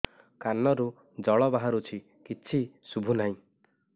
କାନରୁ ଜଳ ବାହାରୁଛି କିଛି ଶୁଭୁ ନାହିଁ